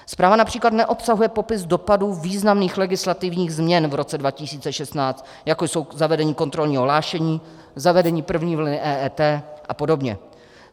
Zpráva například neobsahuje popis dopadů významných legislativních změn v roce 2016, jako je zavedení kontrolního hlášení, zavedení první vlny EET a podobně.